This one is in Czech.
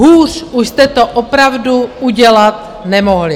Hůř už jste to opravdu udělat nemohli!